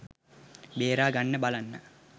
බේරා ගන්න බලන්න.